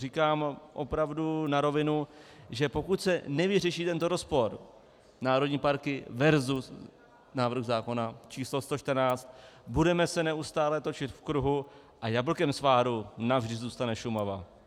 Říkám opravdu na rovinu, že pokud se nevyřeší tento rozpor, národní parky versus návrh zákona číslo 114, budeme se neustále točit v kruhu a jablkem sváru navždy zůstane Šumava.